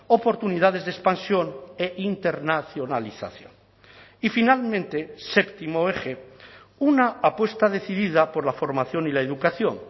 oportunidades de expansión e internacionalización y finalmente séptimo eje una apuesta decidida por la formación y la educación